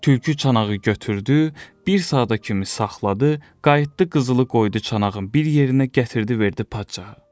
Tülkü çanağı götürdü, bir saata kimi saxladı, qayıtdı qızılı qoydu çanağın bir yerinə gətirdi verdi padşaha.